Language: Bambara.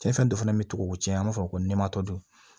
Cɛn fɛn dɔ fana bɛ tigɛ o cɛn an b'a fɔ ko ni matɔ don